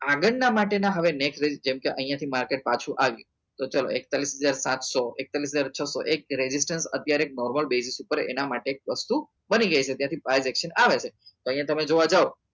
આગળ ના માટે ના હવે next જેમ કે અહિયાં થી market પાછું આવ્યું તો ચલો એકતાલીસ હજાર સાતસો એકતાલીસ હજાર છસો એક ragistrastion અત્યારે એક normal besis ઉપર એના માટે એક વસ્તુ બની ગઈ છે તેથી privation આવે છે તો અહિયાં તમે જોવા જાઓ